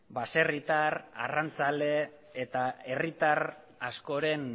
baserritar arrantzale eta herritar askoren